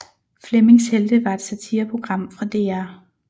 Flemmings Helte var et satireprogram fra DR